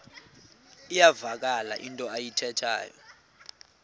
iyavakala into ayithethayo